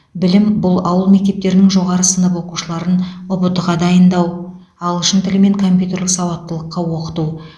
білім бұл ауыл мектептерінің жоғары сынып оқушыларын ұбт ға дайындау ағылшын тілі мен компьютерлік сауаттылыққа оқыту